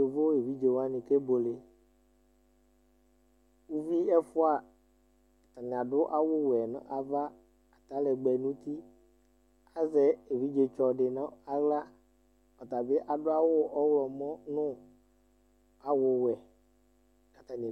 Yovo evidze wani kebueleUvi ɛfua , atani adʋ awu wɛ nu ava, atalɛgbɛ nutiAzɛ evidze tsɔ di nʋ aɣlaƆtabi adʋ awu ɔɣlɔmɔ nu awu wɛ Atani